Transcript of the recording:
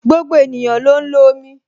Gbogbo ènìyàn ló ń lo omi